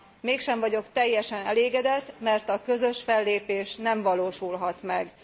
Mégsem vagyok teljesen elégedett, mert a közös fellépés nem valósulhat meg.